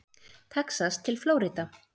Texas til Flórída.